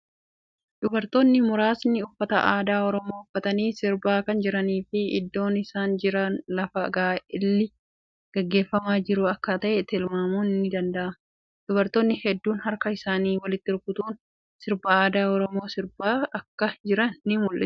Dubartoonni muraasni uffata aadaa Oromoo uffatanii sirbaa kan jiranii fii iddoon isaan jira lafa gaa'elli gaggeeffamaa jiru akka ta'e tilmaamun ni danda'ama. Dubartoonni heddun harka isaanii walitti rukutuun sirba aadaa Oromoo sirbaa akka jiran ni mul'isa.